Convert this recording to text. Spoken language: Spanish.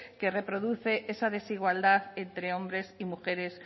que reproduce esa desigualdad entre hombres y mujeres